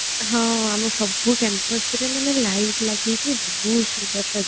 ଆମ ସବୁ campus ମାନେ light ଲାଗିକି ବହୁତ ସୁନ୍ଦର ସଜେଇ ହେଇଥିଲା